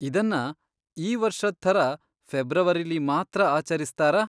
ಇದನ್ನ ಈ ವರ್ಷದ್ ಥರ ಫೆಬ್ರವರಿಲಿ ಮಾತ್ರ ಆಚರಿಸ್ತಾರಾ?